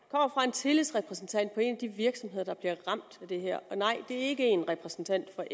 tillidsrepræsentant på en af de virksomheder der bliver ramt af det her og nej det er ikke en repræsentant for